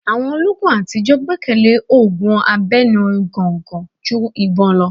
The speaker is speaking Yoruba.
Àwọn olóogun àtijọ́ gbẹ́kẹ̀lé òògùn abẹnu gọ̀ǹgọ̀ ju ìbọn lọ.